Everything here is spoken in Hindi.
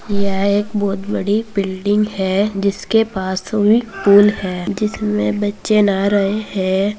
यह एक बहुत बड़ी बिल्डिंग है जिसके पास स्विमिंग पूल है जिसमे बच्चे नहा रहे हैं।